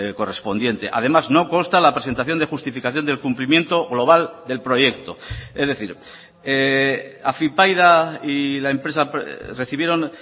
correspondiente además no consta la presentación de justificación del cumplimiento global del proyecto es decir afypaida y la empresa recibieron